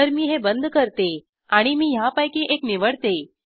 तर मी हे बंद करतो आणि मी ह्यापैकी एक निवडतो